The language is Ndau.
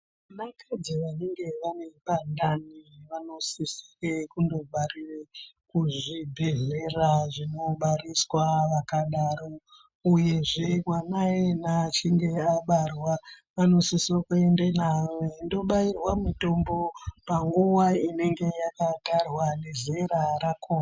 Vakadzi vanenge vanepandani vanosise kundobarire kuzvibhedhlera zvinobariswa vakadaro, uyezve mwana iyena achinge abarwa anosiswe kuenda naye kundobayirwa mutombo panguva inenge yakatarwa nezera rakhona.